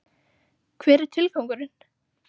Hver er tilgangurinn?